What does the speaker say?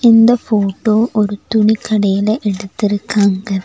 இந்த ஃட்டோ ஒரு துணிக்கடையில எடுத்துருக்காங்க.